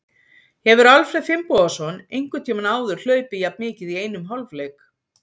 Hefur Alfreð Finnbogason einhvern tímann áður hlaupið jafn mikið í einum hálfleik?